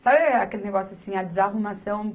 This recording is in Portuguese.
Sabe aquele negócio assim, a desarrumação?